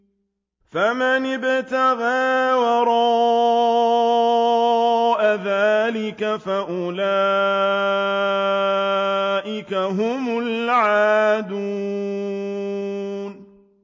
فَمَنِ ابْتَغَىٰ وَرَاءَ ذَٰلِكَ فَأُولَٰئِكَ هُمُ الْعَادُونَ